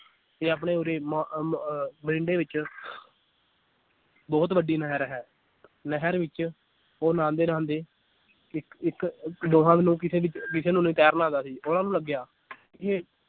ਤੇ ਆਪਣੇ ਉਰ੍ਹੇ ਮ ਅਹ ਮਰਿੰਡੇ ਵਿਚ ਬਹੁਤ ਵੱਡੀ ਨਹਿਰ ਹੈ ਨਹਿਰ ਵਿਚ ਉਹ ਨਾਹਾਂਦੇ ਨਹਾਂਦੇ ਇੱਕ ਇੱਕ ਦੋਹਾਂ ਨੂੰ ਕਿਸੇ ਕਿਸੇ ਨੂੰ ਨੀ ਤੈਰਨਾ ਆਂਦਾ ਸੀ ਉਹਨਾਂ ਨੂੰ ਲੱਗਿਆ ਕਿ ਇਹ